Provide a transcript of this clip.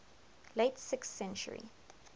late sixth century